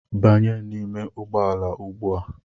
Banye n'ime ụgbọala ugbua!